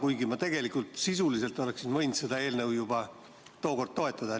Ometi sisuliselt oleksin võinud seda eelnõu juba tookord toetada.